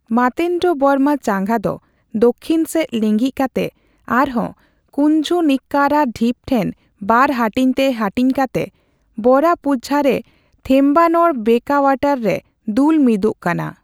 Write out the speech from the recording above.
ᱢᱟᱨᱛᱚᱱᱰᱚᱵᱚᱨᱢᱟ ᱪᱟᱸᱜᱟ ᱫᱚ ᱫᱚᱠᱠᱷᱤᱱ ᱥᱮᱪ ᱞᱤᱸᱜᱤᱱ ᱠᱟᱛᱮ ᱟᱨᱦᱚᱸ ᱠᱩᱧᱡᱩᱱᱤᱠᱠᱟᱨᱟ ᱰᱷᱤᱯ ᱴᱷᱮᱱ ᱵᱟᱨ ᱦᱟᱹᱴᱤᱧᱛᱮ ᱦᱟᱹᱴᱤᱧ ᱠᱟᱛᱮ ᱵᱚᱨᱟᱯᱩᱡᱷᱟ ᱨᱮ ᱵᱷᱮᱢᱵᱟᱱᱚᱲ ᱵᱮᱠᱳᱣᱟᱴᱟᱨ ᱨᱮ ᱫᱩᱞ ᱢᱤᱫ ᱟᱠᱟᱱᱟ ᱾